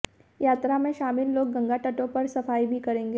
यात्रा में शामिल लोग गंगा तटों पर सफाई भी करेंगे